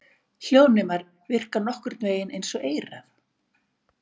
Hljóðnemar virka nokkurn vegin eins og eyrað.